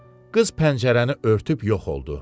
Qız pəncərəni örtüb yox oldu.